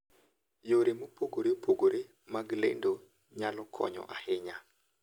Yore mopogore opogore mag lendo nyalo konyo ahinya.